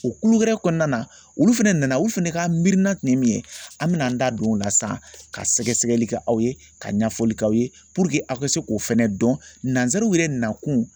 O kulu wɛrɛ kɔnɔna na olu fɛnɛ nana olu fɛnɛ ka miirina tun ye min ye an bɛna an da don o la sisan ka sɛgɛsɛgɛli kɛ aw ye ka ɲɛfɔli k'aw ye aw ka se k'o fɛnɛ dɔn nansaraw yɛrɛ nakun